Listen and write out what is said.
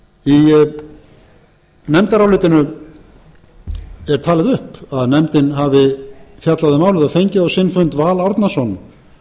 í nefndarálitinu er talið upp að nefndin hafi fjallað um málið og fengið á sinn fund val árnason